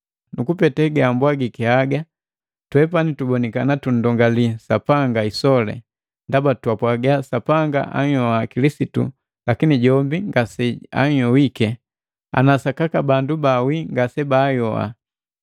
Nukupete gambwagiki haga twepani tubonikana tundongali Sapanga isoli, ndaba twapwaga Sapanga anhyoha Kilisitu lakini jombi ngaseayohiki, ana sakaka bandu bawii ngasebaayoha.